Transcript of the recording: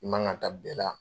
I man ka da bɛɛ la.